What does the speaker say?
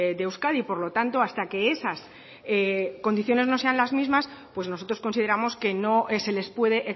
de euskadi por lo tanto hasta que esas condiciones no sean las mismas pues nosotros consideramos que no se les puede